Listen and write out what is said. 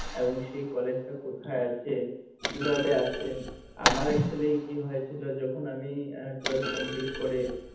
এবং সেই কলেজ টা কোথায আছে? কি ভাবে আছে আমার actually কি হয়েছিল যখন আমি আহ twelfth complete করে